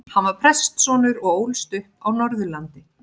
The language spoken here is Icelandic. Hann var prestssonur og ólst upp á Norðurlandi.